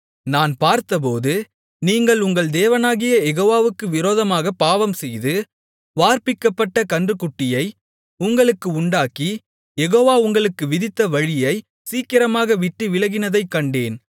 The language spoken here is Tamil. நான் பார்த்தபோது நீங்கள் உங்கள் தேவனாகிய யெகோவாவுக்கு விரோதமாகப் பாவம்செய்து வார்ப்பிக்கப்பட்டக் கன்றுக்குட்டியை உங்களுக்கு உண்டாக்கி யெகோவா உங்களுக்கு விதித்த வழியைச் சீக்கிரமாக விட்டுவிலகினதைக் கண்டேன்